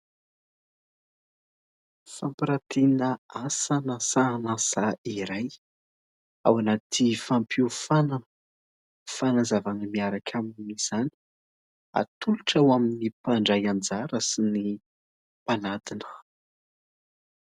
Fampirantiana asa na sahan'asa iray ao anaty fampiofanana fanazavana miaraka amin'izany ; atolotra ho amin'ny mpandray anjara sy ny mpanadina.